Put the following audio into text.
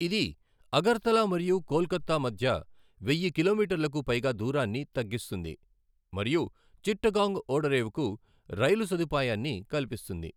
ఇది అగర్తలా మరియు కోల్కతా మధ్య వెయ్యి కిలోమీటర్లకు పైగా దూరాన్ని తగ్గిస్తుంది మరియు చిట్టగాంగ్ ఓడరేవుకు రైలు సదుపాయాన్ని కల్పిస్తుంది.